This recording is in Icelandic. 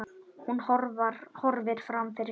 Hún horfir fram fyrir sig.